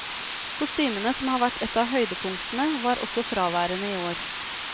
Kostymene, som har vært et av høydepunktene, var også fraværende i år.